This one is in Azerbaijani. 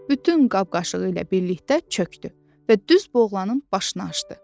Bütün qab-qaşığı ilə birlikdə çöxdü və düz boğazının başına açdı.